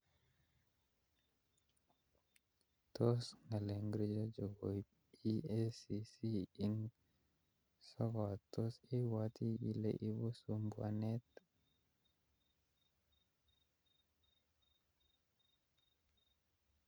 Tos ngalek ngirjo chokoip EACC ing sokat tos ipwati ile ipu sumbuanet